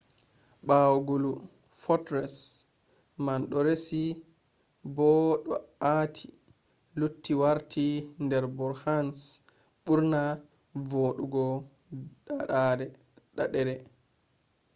ɓawo gulu fortress man ɗo resi bo ɗo aati lutti warta der bhutan’s ɓurna voɗugo ɗaaɗere